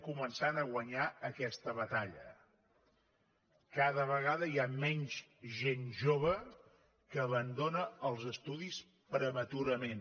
comencem a guanyar aquesta batalla cada vegada hi ha menys gent jove que abandona els estudis prematurament